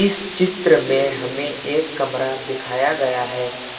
इस चित्र में हमें एक कमरा दिखाया गया है।